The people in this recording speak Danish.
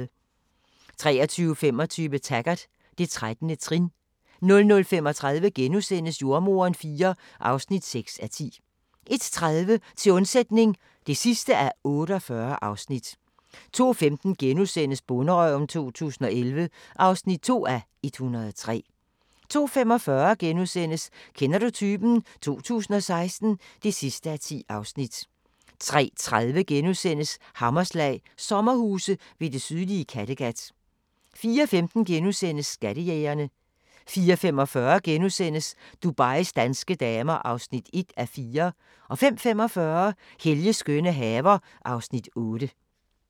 23:25: Taggart: Det 13. trin 00:35: Jordemoderen IV (6:10)* 01:30: Til undsætning (48:48) 02:15: Bonderøven 2011 (2:103)* 02:45: Kender du typen? 2016 (10:10)* 03:30: Hammerslag – sommerhuse ved det sydlige Kattegat * 04:15: Skattejægerne * 04:45: Dubais danske damer (1:4)* 05:45: Helges skønne haver (Afs. 8)